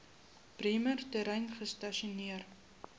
bremer terrein gestasioneer